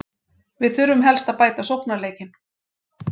Við þurfum helst að bæta sóknarleikinn.